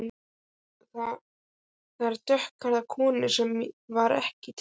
Ég sá þar dökkhærða konu sem var ekki til.